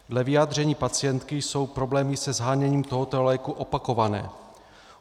Dle vyjádření pacientky jsou problémy se sháněním tohoto léku opakované.